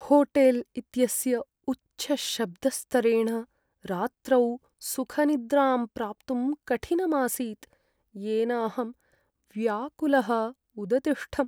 Hotel इत्यस्य उच्चशब्दस्तरेण रात्रौ सुखनिद्रां प्राप्तुं कठिनम् आसीत्, येन अहं व्याकुलः उदतिष्ठम्।